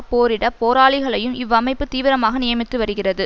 போரிட போராளிகளையும் இவ்வமைப்பு தீவிரமாக நியமித்து வருகிறது